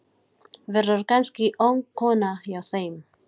Verður kannski ung kona hjá þeim.